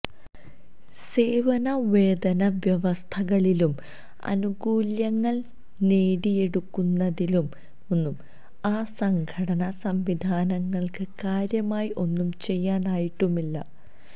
സേവന വേതന വ്യവസ്ഥകളിലും ആനുകൂല്യങ്ങള് നേടിയെടുക്കുന്നതിലുമൊന്നും ആ സംഘടനാ സംവിധാനങ്ങള്ക്ക് കാര്യമായി ഒന്നും ചെയ്യാനായിട്ടുമില്ല